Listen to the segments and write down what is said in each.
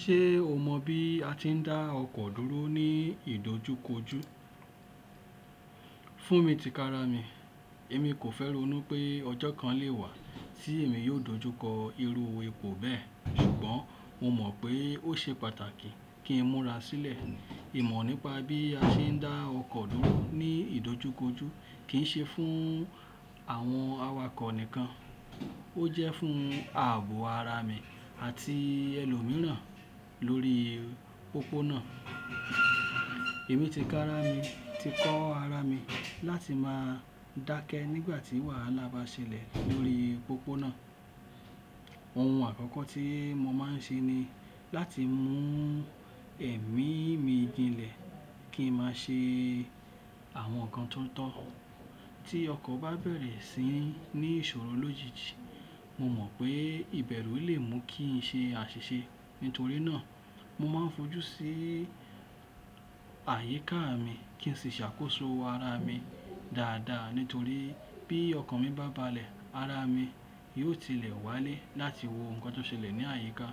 Ṣé o mọ bí a ti ń dá ọkọ̀ dúró ní ìdojúkojú? Fún mi tikára mi, èmi kò fẹ́ ronu pé ọjọ́ kan lè wà tí èmi yóò dojúkọ irú epo bẹ́ẹ̀ ṣùgbọ́n mo mọ̀ pé ó ṣe pàtàkì kí n múra sílẹ̀ ìmọ̀ nípa bí a ṣe ń dá ọkọ̀ dúró ní ìdojúkojú kì í ṣe fún àwọn awakọ̀ nìkan, ó jẹ́ fún ààbò ara mi àti ẹlòmíràn lórí pópónà. Èmi tikára mi ti kọ́ ara mi láti máa dákẹ́ nígbà tí wàhálà bá ṣẹlẹ̀ lórí pópónà. Ohun àkọ́kọ́ tí mo máa ń ṣe ni láti mú ẹ̀mí mi jinlẹ̀ kí n máa ṣe àwọn nǹkan tó ń tọ́. Tí ọkọ̀ bá bẹ̀rẹ̀ sí ní ìṣòro lójijì, mo mọ̀ pé ìbẹ̀rù lè mú kí n ṣe àṣìṣe nítorí náà mo máa ń fojú sí àyíká mi kí n sì ṣàkóso ara mi dáadáa nítorí bí ọkọ̀ mi bá balẹ̀ ara mi yóò tilẹ̀ wálé láti wo nǹkan tó ṣẹlẹ̀ ní àyíká.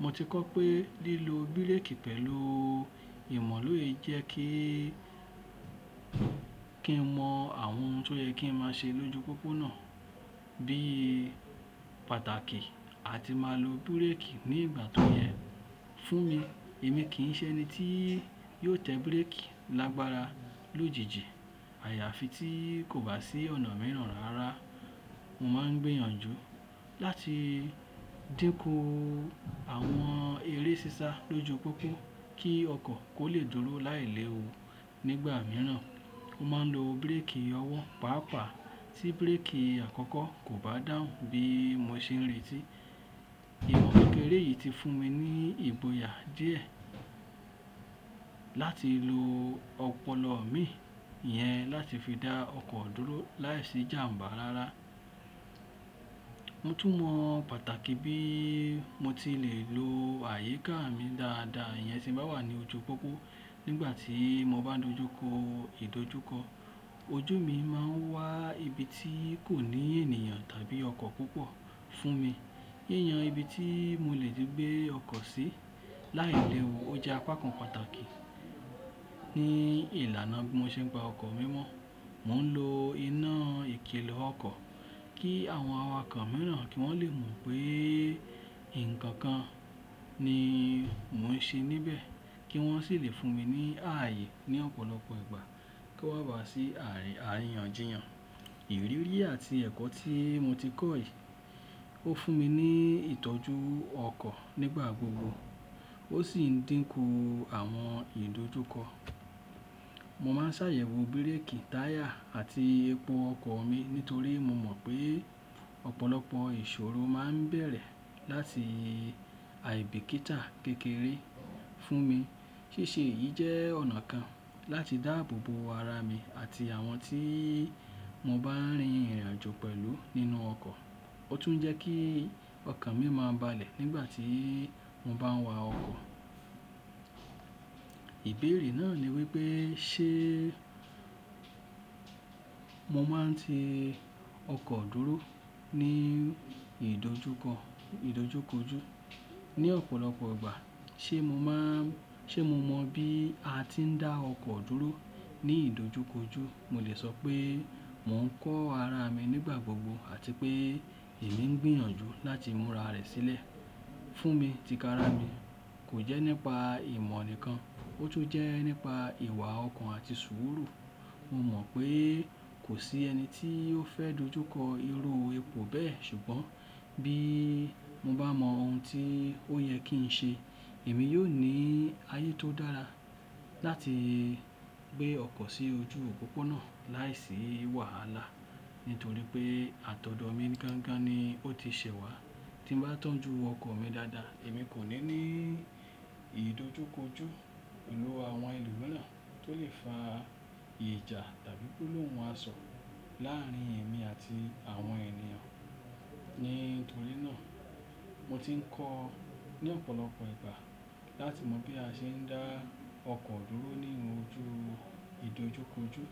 Mo ti kọ́ pé lílo bírèkì pẹ̀lú ìmọ̀ lóye jẹ́ kí, kí n mọ àwọn ohun tó yẹ kí n máa ṣe lójú pópónà bí pàtàkì àti máa lo bírèkì ní ìgbà tó yẹ. Fún mi, èmi kì í ṣe ẹni tí yóò tẹ bírèkì lágbára lójijì. Àyàfi tí kò bá sí ọ̀nà mìíràn rárá. Mo máa ń gbìyànjú láti dínkù àwọn eré sísá lójú pópó kí ọkọ̀ kó lè dúró láìlẹ́wu nígbà mìíràn. Mo máa ń lo bírèkì ọwọ́ pàápàá tí bírèkì àkọ́kọ́ kò bá dáhù bí mo ṣe ń retí. Ìmọ̀ kekẹré yìí ti fún mi ní ìgboyà díẹ̀ láti lo ọpọlọ mi iyẹn láti fi dá ọkọ̀ dúró láìsí jàm̀bá rárá. Mo tún mọ pàtàkì bí mo ti le lo àyíká mi dáadáa ìyẹn ṣe bá wà ní ojú pópó nígbà tí mo bá dojúkọ ìdojúkọ. Ojú mi máa ń wá ibi tí kò ní ènìyàn tàbí ọkọ̀ púpọ̀ fún mi. Yé yan ibi tí mo lè gbé ọkọ̀ sí láìlẹ́wu ó jẹ́ apá kan pàtàkì ní ìlànà bí mo ṣe ń gba ọkọ̀ mi mọ́. Mo ń lo iná ìkìlọ̀ ọkọ̀ kí àwọn awakọ̀ mìíràn kí wọ́n lè mọ̀ pé nǹkan kan ni mò ń ṣe níbẹ̀ kí wọ́n sì lè fún mi ní ààyè ní ọ̀pọ̀lọpọ̀ ìgbà kí ó bá sí àyìyànjìyàn. Ìrírí yìí àti ẹ̀kọ́ tí mo ti kọ́ yìí ó fún mi ní ìtọ́jú ọkọ̀ nígbà gbogbo ó sì ń dínkù àwọn ìdojúkọ. Mo máa ń ṣàyẹ̀wò bírèkì táyà àti epo ọkọ̀ mi nítorí mo mọ̀ pé ọ̀pọ̀lọpọ̀ ìṣòro máa ń bẹ̀rẹ̀ láti aibikíta kékeré fún mi. Síṣe yìí jẹ́ ọ̀nà kan láti dáàbò bo ara mi àti àwọn tí mo bá rin ìrìnàjò pẹ̀lú nínú ọkọ̀. Ó tún jẹ́ kí ọkọ̀ mi máa balẹ̀ nígbà tí mo bá ń wa ọkọ̀. Ìbéèrè náà ni wípé ṣe mo máa ń ti ọkọ̀ dúró ní ìdojúkọ, ìdojúkojú ní ọ̀pọ̀lọpọ̀ ìgbà. Ṣé mo mọ bí a ti ń dá ọkọ̀ dúró ní ìdojúkojú? Mo lè sọ pé mò ń kọ́ ara mi nígbà gbogbo àti pé èmi ń gbìyànjú láti múra rẹ̀ sílẹ̀. Fún mi tikára mi, kò jẹ́ nípa ìmọ̀ nìkan ó tún jẹ́ nípa ìwà ọkàn àti sùúrù. Mo mọ̀ pé kò sí ẹni tí ó fẹ́ dojúkọ irú epo bẹ́ẹ̀ ṣùgbọ́n bí mo bá mọ ohun tí ó yẹ kí n ṣe, èmi yóò ní ààyè tó dára láti gbé ọkọ̀ sí ojú pópónà láìsí wàhálà nítorí pé àtọ̀dọ́ mi gangan ni ó ti ṣẹwá. Tí mo bá tọ́jú ọkọ̀ mi dáadáa, èmi kò ní ní ìdojúkojú pẹ̀lú àwọn ẹlòmíràn tó lè fa ìjà tàbí gbolohun àsọ̀ láàárín èmi àti àwọn ènìyàn. Nítorí náà mo ti ń kọ́ ní ọ̀pọ̀lọpọ̀ ìgbà láti mọ bí a ṣe ń dá ọkọ̀ dúró nínú ojú ìdojúkojú.